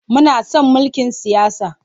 Muna son mulkin siyasa.